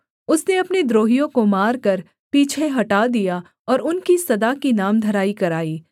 उसने अपने द्रोहियों को मारकर पीछे हटा दिया और उनकी सदा की नामधराई कराई